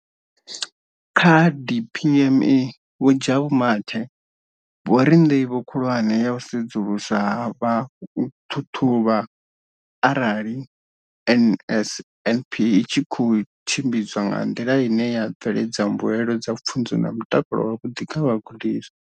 Kha DPME, Vho Jabu Mathe, vho ri ndivho khulwane ya u sedzulusa ho vha u ṱhaṱhuvha arali NSNP i tshi khou tshimbidzwa nga nḓila ine ya bveledza mbuelo dza pfunzo na mutakalo wavhuḓi kha vhagudiswa.